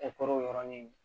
yɔrɔnin